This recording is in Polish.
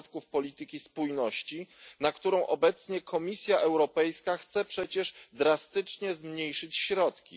polityki spójności, na którą obecnie Komisja Europejska chce przecież drastycznie zmniejszyć środki.